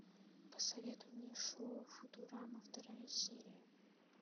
посоветуй мне шоу футурама вторая серия